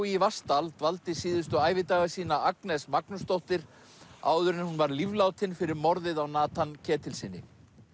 í Vatnsdal dvaldi síðustu ævidaga sína Agnes Magnúsdóttir áður en hún var líflátin fyrir morðið á Ketilssyni